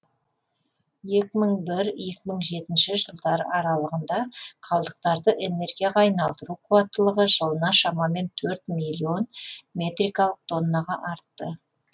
екі мың бір екі мың жетінші жылдар аралығында қалдықтарды энергияға айналдыру қуаттылығы жылына шамамен төрт миллион метрикалық тоннаға артты